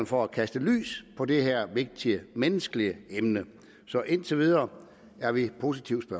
for at kaste lys på det her vigtige menneskelige emne så indtil videre er vi positivt